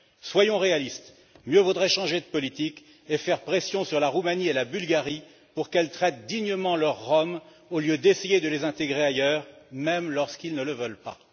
Soyons réalistes, mieux vaudrait changer de politique et faire pression sur la Roumanie et la Bulgarie pour qu'elles traitent dignement leurs Roms au lieu d'essayer de les intégrer ailleurs, même lorsqu'ils ne le veulent pas.